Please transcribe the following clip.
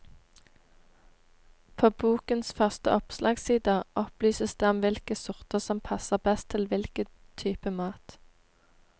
På bokens første oppslagssider opplyses det om hvilke sorter som passer best til hvilken type mat.